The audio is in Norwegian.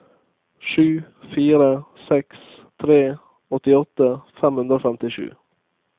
sju fire seks tre åttiåtte fem hundre og femtisju